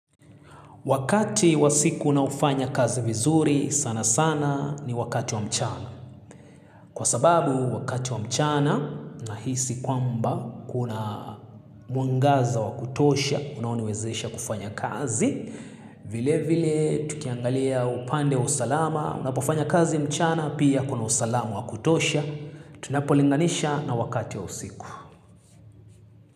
Wakati wa siku ninaofanya kazi vizuri sana sana ni wakati wa mchana. Kwa sababu wakati wa mchana nahisi kwamba kuna mwangaza wa kutosha, unaoniwezesha kufanya kazi. Vile vile tukiangalia upande wa usalama, unapofanya kazi mchana pia kuna usalama wa kutosha. Tunapo linganisha na wakati wa usiku.